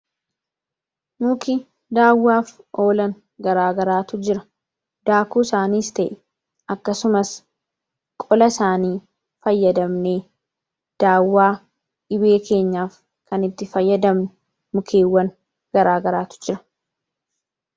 Mukni daawwaaf oolan garaagaraatu jira. Daakuu isaaniis ta'e akkasumas qola isaanii fayyadamne daawwaa dhibee keenyaaf kan itti fayyadamne mukeewwan garaagaraatu jira